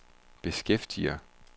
beskæftiger